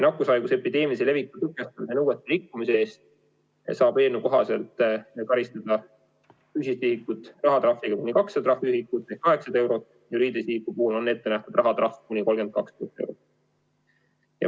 Nakkushaiguse epideemilise leviku tõkestamise nõuete rikkumise eest saab eelnõu kohaselt karistada füüsilist isikut rahatrahviga kuni 200 trahviühikut ehk 800 eurot, juriidilise isiku puhul on ette nähtud rahatrahv kuni 32 000 eurot.